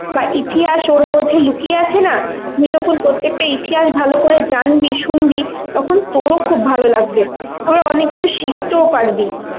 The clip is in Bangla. বা ইতিহাস ওর মধ্যে লুকিয়ে আছে না, তুই যখন প্রত্যেক টা ইতিহাস ভালো করে জানবি শুনবি তখন তোর ও খুব ভালো লাগবে. আবার অনেক কিছু শিখতেও পারবি.